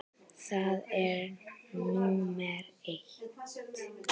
Það er númer eitt.